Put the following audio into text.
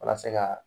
Walasa ka